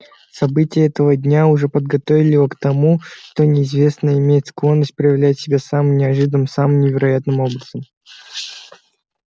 события этого дня уже подготовили его к тому что неизвестное имеет склонность проявлять себя самым неожиданным самым невероятным образом